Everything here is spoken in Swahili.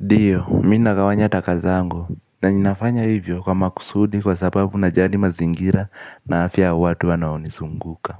Ndio, mimi nagawanya taka zangu na ninafanya hivyo kwa makusudi kwa sababu najali mazingira na afya ya watu wanaonizunguka.